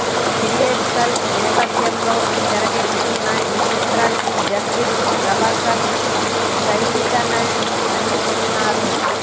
periodical నేపథ్యంలో తెరకెక్కుతున్న ఈ చిత్రానికి జస్టిన్ ప్రభాకరన్ సంగీతానని అందిస్తున్నారు